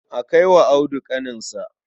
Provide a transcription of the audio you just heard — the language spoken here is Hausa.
Kai wa Audu kakinsa.